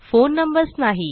phone numbers नाही